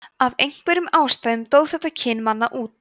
af einhverjum ástæðum dó þetta kyn manna út